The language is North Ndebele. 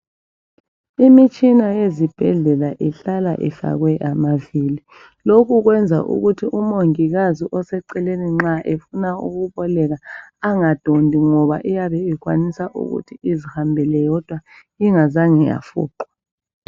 Imitshina ezibhedlela ihlala ifakwe amavili lokhu kwenza ukuthi umongikazi oseceleni nxa efuna ukuboleka engadondi ngoba iyabe ikwanisa ukuthi izihambele yodwa ingazange yafuqwa.